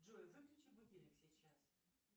джой выключи будильник сейчас